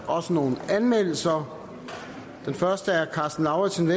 også nogle anmeldelser karsten lauritzen